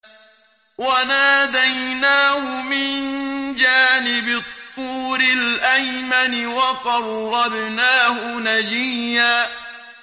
وَنَادَيْنَاهُ مِن جَانِبِ الطُّورِ الْأَيْمَنِ وَقَرَّبْنَاهُ نَجِيًّا